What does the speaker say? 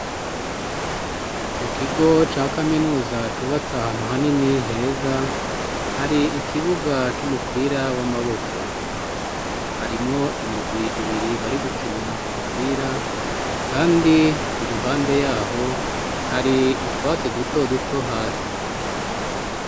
Mu kigo ca kaminuza cubatse ahantu hanini, heza, hari ikibuga c'umupira w'amaboko. Harimwo imigwi ibiri bari gukina umupira ,kandi iruhande yaho hari utwatsi duto duto hasi.